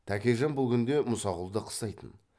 тәкежан бұл күнде мұсақұлды қыстайтын